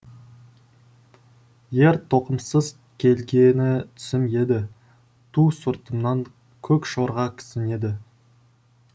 ер тоқымсыз келгені түсім еді ту сыртымнан көкжорға кісінеді